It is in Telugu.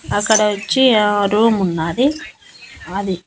అక్కడ వచ్చి ఆ రూమ్ ఉన్నాది అది.